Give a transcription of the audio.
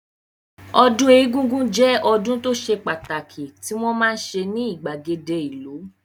Ọdún egúngún jẹ́ ọdún tó ṣe pàtàkì tí wọ́n máa ń ṣe ní ìgbàgede ìlú